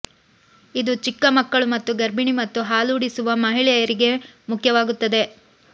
ಇದು ಚಿಕ್ಕ ಮಕ್ಕಳು ಮತ್ತು ಗರ್ಭಿಣಿ ಮತ್ತು ಹಾಲೂಡಿಸುವ ಮಹಿಳೆಯರಿಗೆ ಮುಖ್ಯವಾಗುತ್ತದೆ